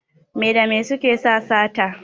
Me da me suke sa sata?